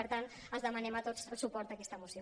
per tant els demanem a tots el suport a aquesta moció